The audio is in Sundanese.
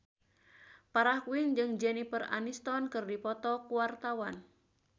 Farah Quinn jeung Jennifer Aniston keur dipoto ku wartawan